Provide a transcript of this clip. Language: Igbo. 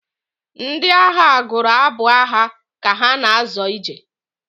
Ndị agha gụrụ abụ agha ka ha na-azọ ije.